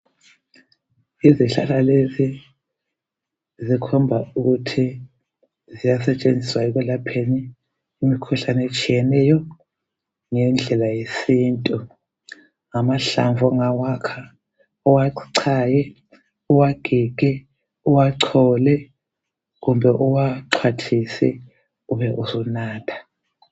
zikhomba ukuthi ziyasetshenziswa ekulapheni imikhuhlane etshiyeneyo ngendlela yesintu. Amahlamvu ungawakha uwachaye uwagige uwachole kumbe uwaxwathise ubesunatha.